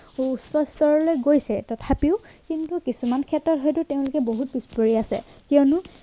সুউচ্চ স্তৰলে গৈছে তথাপিও কিন্তু কিছুমান ক্ষেত্ৰত হয়তো তেওঁলোকে বহুত পিছপৰি আছে কিয়নো